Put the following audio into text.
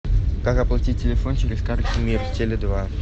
как оплатить телефон через карту мир теле два